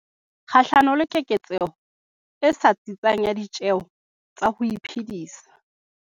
kgahlano le keketseho e sa tsitsang ya ditjeho tsa ho iphedisa.